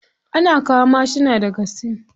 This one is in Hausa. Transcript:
Ana kawo mashuna daga sin.